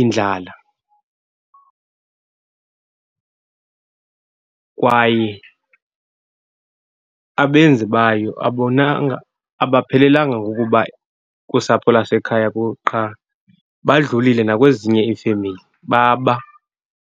indlala. Kwaye abenzi bayo abonanga abaphelelanga ngokuba kusapho lasekhaya , qha badlulile nakwezinye iifemeli, baba.